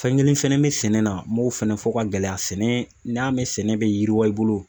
Fɛn kelen fɛnɛ bɛ sɛnɛ na m'o fɛnɛ fɔ ka gɛlɛya sɛnɛ n'i y'a mɛn sɛnɛ bɛ yiriwa i bolo